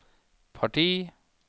parti